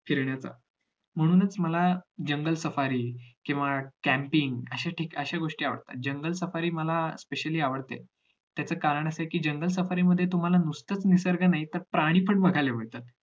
फिरण्याचा म्हणूनच मला जंगल सफारी किंवा campain अशे ठी असे गोष्टी आवडता जंगल सफारी मला specially आवडते त्याचा कारण असं आहे कि जंगल सफारी मध्ये तुम्हाला नुसताच निसर्ग नाही प्राणी पण बघायला मिळतात